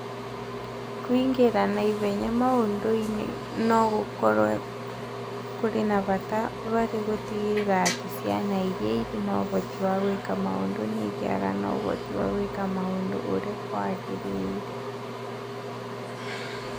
Kũingĩra na ihenya maũndũ-inĩ no gũkorũo kũrĩ kwa bata harĩ gũtigĩrĩra atĩ ciana iria irĩ na ũhoti wa gwĩka maũndũ nĩ igĩaga na ũhoti wa gwĩka maũndũ ũrĩa kwagĩrĩire.